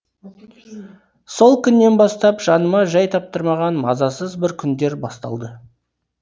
сол күннен бастап жаныма жай таптырмаған мазасыз бір күндер басталды